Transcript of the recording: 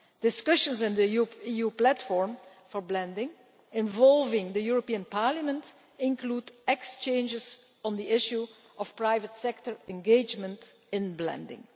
Discussions in the EU platform for blending, involving the European Parliament, include exchanges on the issue of private sector engagement in blending.